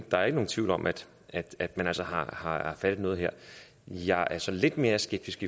der er ikke nogen tvivl om at at man altså har fat i noget her jeg er så lidt mere skeptisk